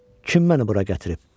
Kim məni bura gətirib?